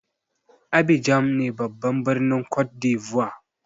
Abidjan ne babban birnin côte d'lvoire.